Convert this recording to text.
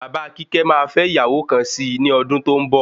Bàbá kíkẹ́ máa fẹ ìyàwó kan sí ní ọdún tó ń bọ̀